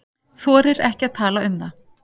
Þorir ekki að tala um það.